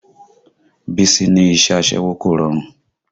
Bísí ní iṣẹ́ aṣẹ́wó kò rọrùn